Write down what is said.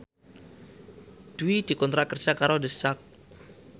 Dwi dikontrak kerja karo The Sak